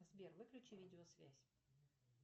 сбер выключи видео связь